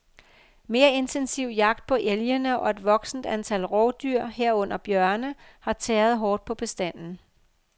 Mere intensiv jagt på elgene og et voksende antal rovdyr, herunder bjørne, har tæret hårdt på bestanden.